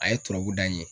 A ye tɔrɔbu da in ye